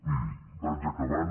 miri vaig acabant